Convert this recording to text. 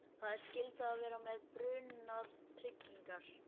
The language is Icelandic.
Það er skylda að vera með brunatryggingar.